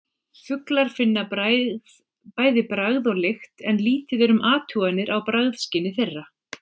Fuglar finna bæði bragð og lykt en lítið er um athuganir á bragðskyni þeirra.